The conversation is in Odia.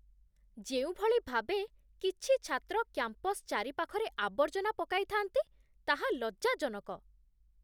ଯେଉଁଭଳି ଭାବେ କିଛି ଛାତ୍ର କ୍ୟାମ୍ପସ ଚାରିପାଖରେ ଆବର୍ଜନା ପକାଇ ଥାଆନ୍ତି, ତାହା ଲଜ୍ଜାଜନକ।